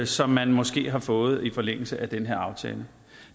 som man måske har fået i forlængelse af den her aftale